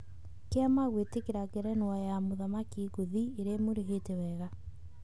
Kĩama kwĩgwatĩra ngerenwa ya mũthaki ngũthi ĩrĩa ĩmũrĩhĩte wega.